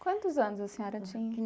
Quantos anos a senhora tinha?